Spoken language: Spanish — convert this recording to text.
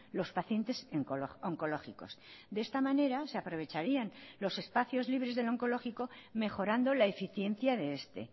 los pacientes oncológicos de esta manera se aprovecharían los espacios libres del oncológico mejorando la eficiencia de este